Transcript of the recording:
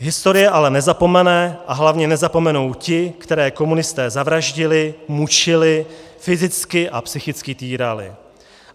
Historie ale nezapomene a hlavně nezapomenou ti, které komunisté zavraždili, mučili, fyzicky a psychicky týrali.